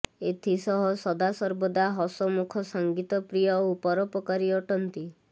ଏଥିସହ ସଦାସର୍ବଦା ହସମୁଖ ସଂଗୀତ ପ୍ରିୟ ଓ ପରୋପକାରୀ ଅଟନ୍ତି